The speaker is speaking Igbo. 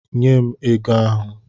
Nye m ego ahụ!